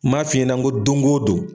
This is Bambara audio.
Ma f'i ɲɛna n ko dongo don.